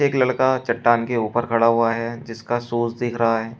एक लड़का चट्टान के ऊपर खड़ा हुआ है जिसका शूज दिख रहा है।